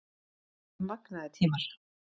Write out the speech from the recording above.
Þetta voru magnaðir tímar